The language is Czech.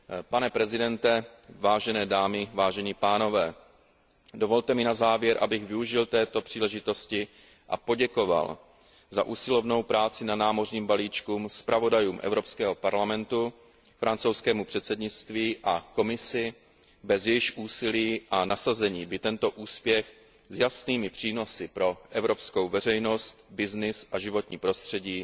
Pane předsedo, vážené dámy, vážení pánové, dovolte mi na závěr, abych využil této příležitosti a poděkoval za usilovnou práci na námořním balíčku zpravodajům Evropského parlamentu, francouzskému předsednictví a Komisi, bez jejichž úsilí a nasazení by tento úspěch s jasnými přínosy pro evropskou veřejnost, business a životní prostředí